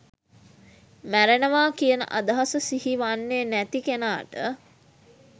මැරෙනවා කියන අදහස සිහිවෙන්නේ නැති කෙනාට